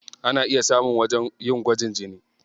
Ana iya samun wajen yin gwajin jini.